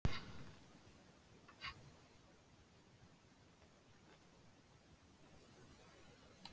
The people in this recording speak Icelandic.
Hver er lélegasti andstæðingurinn sem þú hefur spilað við?